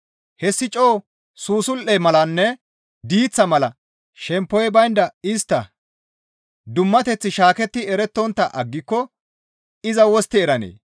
Hessi coo susul7e malanne diiththa mala shemppoy baynda istta giirissas dummateththi shaaketti erettontta aggiko iza wostti eranee?